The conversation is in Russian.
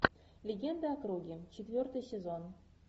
легенда о круге четвертый сезон